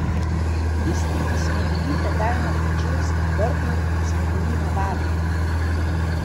Tisti, ki smo bili tedaj na Koševskem Brdu, smo bili na varnem.